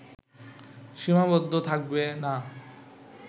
সীমাবদ্ধ থাকবে না